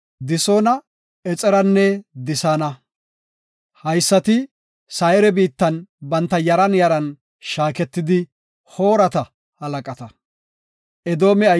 Disoona, Exeranne Disaana. Haysati Sayre biittan banta yaran yaran shaaketida Hoorata halaqata.